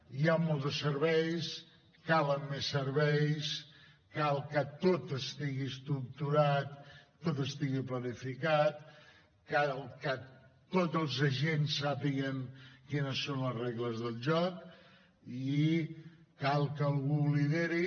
hi ha molts de serveis calen més serveis cal que tot estigui estructurat tot estigui planificat cal que tots els agents sàpiguen quines són les regles del joc i cal que algú ho lideri